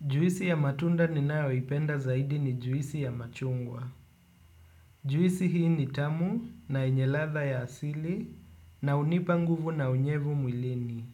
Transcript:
Juisi ya matunda ninayoipenda zaidi ni juisi ya machungwa. Juisi hii ni tamu na yenye ladha ya asili na hunipa nguvu na unyevu mwilini.